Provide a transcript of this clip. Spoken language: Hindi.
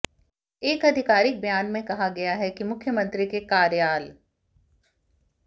एक अधिकारिक बयान में कहा गया है कि मुख्यमंत्री के कार्याल